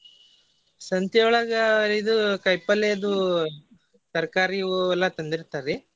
ಸಂತಿಯೊಳಗ ಇದು ಕಾಯಿಪಲ್ಲೆ ಅದು ತರಕಾರಿ ಇವು ಎಲ್ಲಾ ತಂದಿರ್ತಾರಿ.